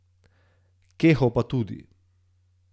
Keho pa tudi.